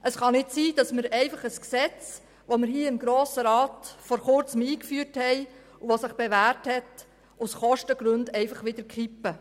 Es kann nicht sein, dass wir ein Gesetz, das wir im Grossen Rat vor Kurzem eingeführt haben und das sich bewährt hat, aus Kostengründen einfach wieder kippen.